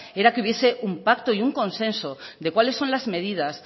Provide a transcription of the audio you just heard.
era que hubiese un pacto y un consenso de cuáles son las medidas